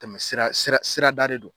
Tɛmɛ sira sira da de don